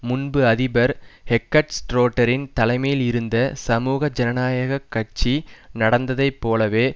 முன்பு அதிபர் ஹெகார்ட் ஷ்ரோடரின் தலைமையில் இருந்த சமூக ஜனநாயக கட்சி நடந்ததை போலவே